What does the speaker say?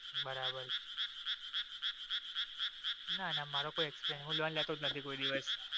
બરાબર ના ના મારો કોઈ experiance. હું loan લેતો જ નથી.